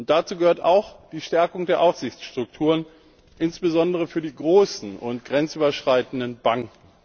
Dazu gehört auch die Stärkung der Aufsichtsstrukturen, insbesondere für die großen und grenzüberschreitenden Banken.